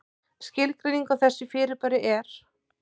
Skilgreining á þessu fyrirbæri er: